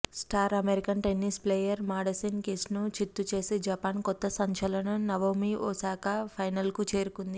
star American tennis player Madison కీస్ను చిత్తుచేసి Japan కొత్త సంచలనం నవొమి ఓసాకా ఫైనల్కు చేరుకుంది